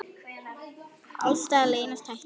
Alls staðar leynast hættur.